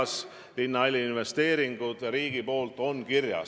See oli, kas me ei võiks mõelda veel suuremalt ja ehitada seal välja ka ooperisaal.